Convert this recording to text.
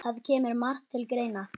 Það kemur margt til greina